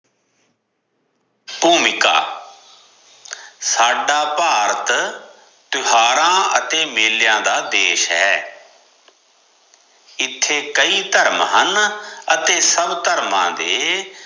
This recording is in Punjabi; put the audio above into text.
ਭੂਮਿਕਾ ਸਦਾ ਭਾਰਤ ਤਿਓਹਾਰਾ ਅਤੇ ਮੇਲਿਆਂ ਦਾ ਦੇਸ਼ ਹੈ ਇਥੇ ਕਈ ਧਰਮ ਹਨ ਅਤੇ ਸਭ ਧਰਮਾਂ ਦੇ